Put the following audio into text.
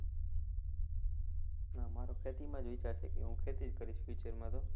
ના મારો ખેતીમાં જ વિચાર છે કે હું ખેતી જ કરીશ future માં તો.